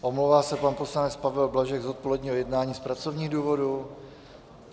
Omlouvá se pan poslanec Pavel Blažek z odpoledního jednání z pracovních důvodů.